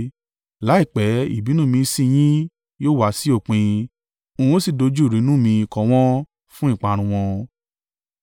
Láìpẹ́, ìbínú mi sí i yín yóò wá sí òpin n ó sì dojú ìrunú mi kọ wọ́n, fún ìparun wọn.”